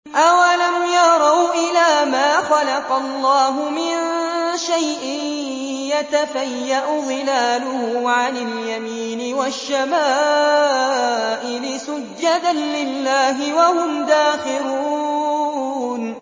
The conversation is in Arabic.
أَوَلَمْ يَرَوْا إِلَىٰ مَا خَلَقَ اللَّهُ مِن شَيْءٍ يَتَفَيَّأُ ظِلَالُهُ عَنِ الْيَمِينِ وَالشَّمَائِلِ سُجَّدًا لِّلَّهِ وَهُمْ دَاخِرُونَ